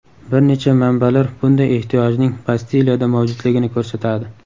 Bir necha manbalar bunday ehtiyojning Bastiliyada mavjudligini ko‘rsatadi.